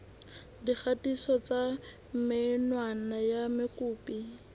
dikgatiso tsa menwana ya mokopi